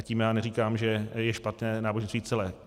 A tím já neříkám, že je špatné náboženství celé.